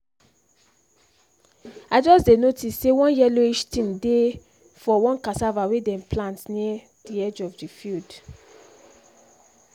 i just dey notice say one yellowish thing dey for one cassava wey them plant near the edge of the field